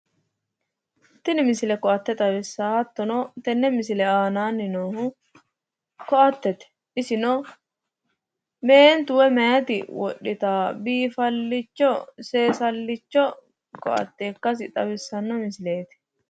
Tini misile koatete isino meentu woyi meyati wodhittano seesalicho koatete misileti